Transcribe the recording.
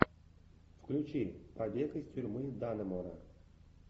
включи побег из тюрьмы даннемора